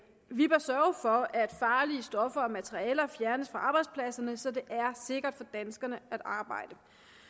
vi bør sørge for at farlige stoffer og materialer fjernes fra arbejdspladserne så det er sikkert for danskerne at arbejde